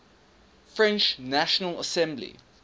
french national assembly